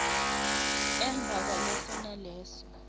emva kwaleso naleso